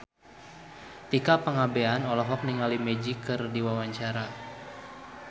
Tika Pangabean olohok ningali Magic keur diwawancara